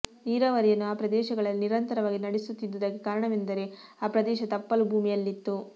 ನೀರಾವರಿಯನ್ನು ಆ ಪ್ರದೇಶಗಳಲ್ಲಿ ನಿರಂತರವಾಗಿ ನಡೆಸು ತ್ತಿದ್ದುದಕ್ಕೆ ಕಾರಣವೆಂದರೆ ಆ ಪ್ರದೇಶ ತಪ್ಪಲು ಭೂಮಿಯಲ್ಲಿತ್ತು